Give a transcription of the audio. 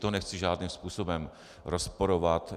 To nechci žádným způsobem rozporovat.